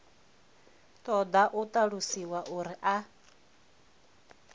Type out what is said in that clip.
ṱoḓa u ṱalusiwa uri a